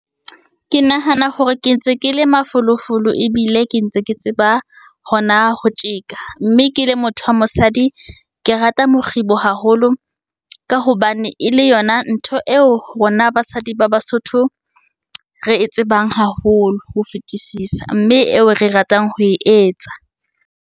Ke nahana hore ke ntse ke le mafolofolo ebile ke ntse ke tseba hona ho tjeka. Mme ke le motho wa mosadi, ke rata mokgibo haholo ka hobane e le yona ntho eo rona basadi ba basotho re e tsebang haholo ho fetisisa, mme eo re ratang ho e etsa.